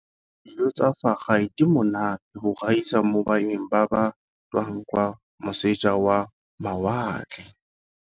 Dijo tsa fa gae di monate go gaisa mo baeng ba ba tswang kwa moseja wa mawatle.